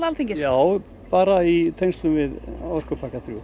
Alþingis já en bara í tengslum við orkupakka þriðja